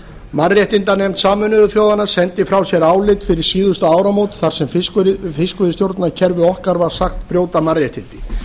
mannréttindanefnd sameinuðu þjóðanna sendi frá sér álit fyrir síðustu áramót þar sem fiskveiðistjórnarkerfi okkar var sagt brjóta mannréttindi